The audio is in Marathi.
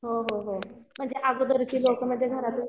हो हो हो म्हणजे अगोदरचे लोक